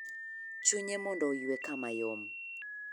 Chunye mondo oyue kama yom.